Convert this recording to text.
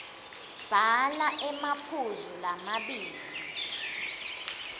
bhala emaphuzu lamabili